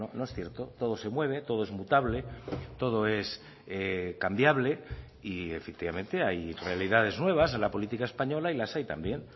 no es cierto todo se mueve todo es mutable todo es cambiable y efectivamente hay realidades nuevas en la política española y las hay también